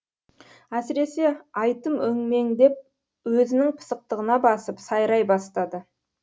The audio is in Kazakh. әсіресе айтым өңмеңдеп өзінің пысықтығына басып сайрай бастады